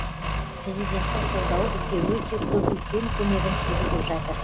президенттің қолдауы бізге өте көп үлкен көмегін тигізіп жатыр